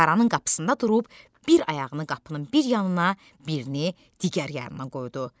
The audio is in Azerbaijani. Mağaranın qapısında durub bir ayağını qapının bir yanına, birini digər yanına qoydu.